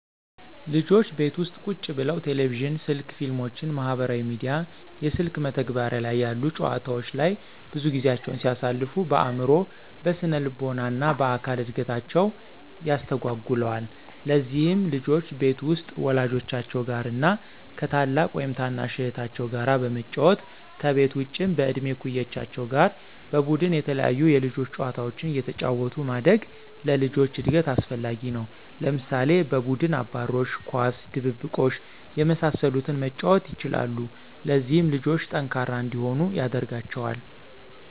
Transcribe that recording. ልጆች ቤት ውስጥ ቁጭ ብለው ቴሌቪዥን፣ ስልክ፣ ፊልሞችን፣ ማህበራዊ ሚዲያ፣ የስልክ መተግበሪያ ላይ ያሉ ጨዋታወች ላይ ብዙ ጊዜያቸውን ሲያሳልፉ በአዕምሮ፣ በስነልቦና እና በአካል እድገታቸውን ያስተጓጉለዋል። ለዚህም ልጆች ቤት ውስጥ ወላጆቻቸው ጋር እና ከ ታላቅ ወይም ታናሽ እህታቸው ጋር በመጫወት፤ ከቤት ውጭም በእድሜ እኩዮቻቸው ጋር በቡድን የተለያዩ የልጆች ጨዋታዎችን አየተጫወቱ ማደግ ለልጆች እድገት አስፈላጊ ነው። ለምሳሌ፦ በቡድን አባሮሽ፣ ኳስ፣ ድብብቆሽ የመሳሰሉትን መጫወት ይችላሉ። ለዚህም ልጆቹ ጠንካራ እንዲሆኑ ያደርጋቸዋል።